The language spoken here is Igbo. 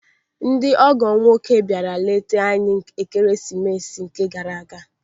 Ndị ọgọ m nwoke bịara leta anyị n'Ekeresimesị gara aga.